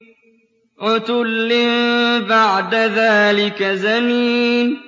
عُتُلٍّ بَعْدَ ذَٰلِكَ زَنِيمٍ